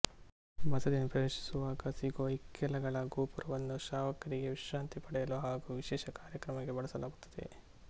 ಬಸದಿಯನ್ನು ಪ್ರವೇಶಿಸುವಾಗ ಸಿಗುವ ಇಕ್ಕೆಲಗಳ ಗೋಪುರವನ್ನು ಶ್ರಾವಕರಿಗೆ ವಿಶ್ರಾಂತಿ ಪಡೆಯಲು ಹಾಗೂ ವಿಶೇಷ ಕಾರ್ಯಕ್ರಮಕ್ಕೆ ಬಳಸಲಾಗುತ್ತದೆ